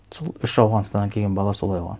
сол үш ауғанстаннан келген бала солай болған